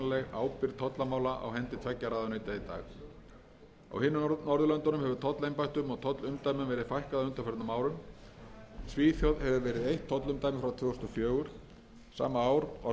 á hendi tveggja ráðuneyta í dag á hinum norðurlöndunum hefur tollembættum og tollumdæmum verið fækkað á undanförnum árum svíþjóð hefur verið eitt tollumdæmi frá tvö þúsund og fjögur sama ár var tollumdæmum í noregi fækkað